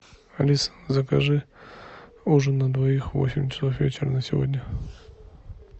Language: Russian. алиса закажи ужин на двоих в восемь часов вечера на сегодня